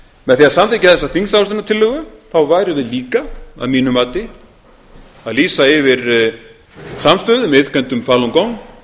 með því að samþykkja þessa þingsályktunartillögu værum við líka að mínu mati að lýsa yfir samstöðu með iðkendum falun gong